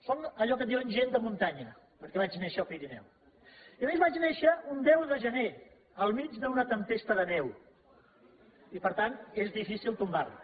sóc allò que en diuen gent de muntanya perquè vaig néixer al pirineu i a més vaig néixer un deu de gener al mig d’una tempesta de neu i per tant és difícil tombar me